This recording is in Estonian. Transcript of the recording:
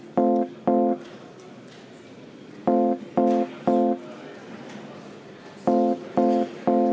Kohtume homme.